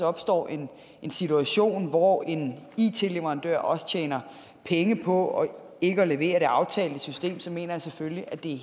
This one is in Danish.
opstår en situation hvor en it leverandør også tjener penge på ikke at levere det aftalte system så mener jeg selvfølgelig at det er